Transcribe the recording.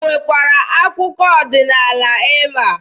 O nwekwa akụkọ ọdịnaala ịma?